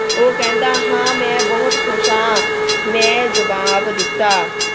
ਉਹ ਕਹਿੰਦਾ ਹਾਂ ਮੈਂ ਬਹੁਤ ਖੁਸ਼ ਹਾਂ। ਮੈਂ ਜਵਾਬ ਦਿੱਤਾ।